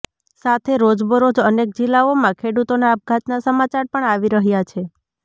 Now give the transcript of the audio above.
સાથે રોજબરોજ અનેક જિલ્લાઓમાં ખેડૂતોના આપઘાતના સમાચાર પણ આવી રહ્યા છે